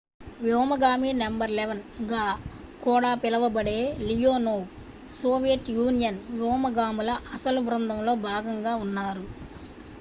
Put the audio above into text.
"""వ్యోమగామి నం. 11" గా కూడా పిలువబడే లియోనోవ్ సోవియట్ యూనియన్ వ్యోమగాముల అసలు బృందంలో భాగంగా ఉన్నారు.